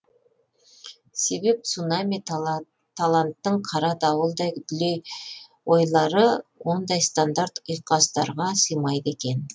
себеп цунами таланттың қара дауылдай дүлей ойлары ондай стандарт ұйқастарға сыймайды екен